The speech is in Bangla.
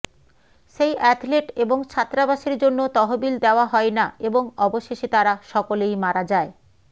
সেই অ্যাথলেট এবং ছাত্রাবাসের জন্য তহবিল দেয়া হয় না এবং অবশেষে তারা সকলেই মারা যায়